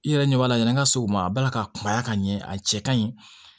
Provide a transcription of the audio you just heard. I yɛrɛ ɲɛ b'a la yɛrɛ an ka se o ma a bala ka kunbaya ka ɲɛ a cɛ kaɲi